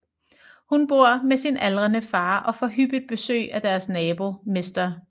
Hun bor med sin aldrende far og får hyppigt besøg af deres nabo mr